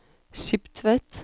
Skiptvet